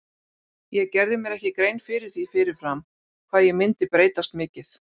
Ég gerði mér ekki grein fyrir því fyrir fram hvað ég myndi breytast mikið.